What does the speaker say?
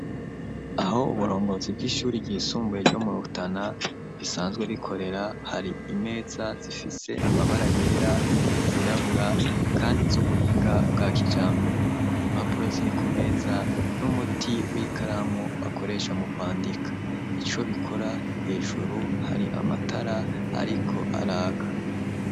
Uho uburongozi bw'ishuri ry'isumbuye ryo mu Rutana risanzwe rikorera, hari imeza zifise amabara yera, intebe zirabura kandi z'ubuhinga bwa kijambere. Impapuro ziri kumeza n'umuti w'ikaramu bakoresha mu kwandika. Ico bikora hejuru hari amatara ariko araka.